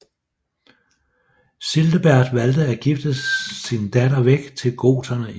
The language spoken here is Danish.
Childebert valgte at gifte sin datter væk til goterne i Spanien